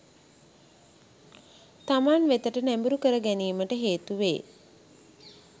තමන් වෙතට නැඹුරු කර ගැනීමට හේතු වේ.